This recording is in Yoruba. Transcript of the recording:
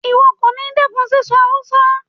Ìwo kòní dẹ́kun síso Hausa